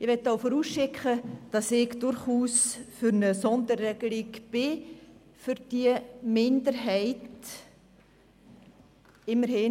Ich möchte auch vorausschicken, dass ich durchaus für eine Sonderregelung zugunsten dieser Minderheit bin.